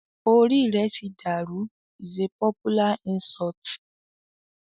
"o rí rẹ tí dàrú" is a popular insult.